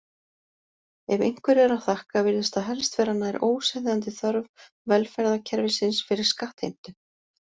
Ef einhverju er að þakka virðist það helst vera nær óseðjandi þörf velferðarkerfisins fyrir skattheimtu.